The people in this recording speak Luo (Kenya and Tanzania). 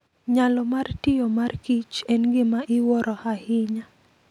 Nyalo mar tiyo mar kich en gima iwuoro ahinya.